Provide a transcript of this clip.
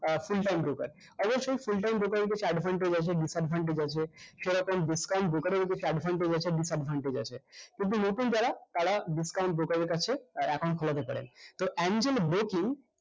আহ full time broker অবশ্য full time broker এর কিছু advantage আছে disadvantage আছে সেরকম discount broker এর ও কিছু advantage আছে disadvantage আছে কিন্তু নতুন যারা তারা discount broker এর কাছে আহ account খোলাতে পারেন তো